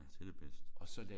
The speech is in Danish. Ja det er det bedste